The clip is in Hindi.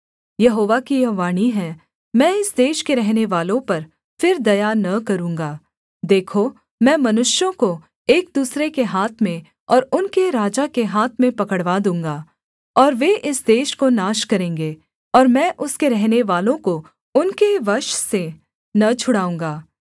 यहोवा की यह वाणी है मैं इस देश के रहनेवालों पर फिर दया न करूँगा देखो मैं मनुष्यों को एक दूसरे के हाथ में और उनके राजा के हाथ में पकड़वा दूँगा और वे इस देश को नाश करेंगे और मैं उसके रहनेवालों को उनके वश से न छुड़ाऊँगा